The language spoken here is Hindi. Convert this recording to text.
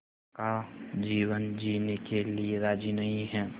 का जीवन जीने के लिए राज़ी नहीं हैं